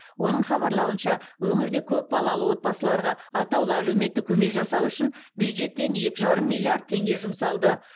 оның хабарлауынша өңірде көп балалы отбасыларға атаулы әлеуметтік көмек жасау үшін бюджеттен екі жарым миллиард теңге жұмсалды